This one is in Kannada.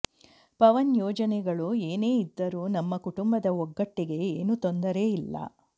ಪವನ್ ಯೋಜನೆಗಳು ಏನೇ ಇದ್ದರೂ ನಮ್ಮ ಕುಟುಂಬದ ಒಗ್ಗಟ್ಟಿಗೆ ಏನು ತೊಂದರೆ ಇಲ್ಲ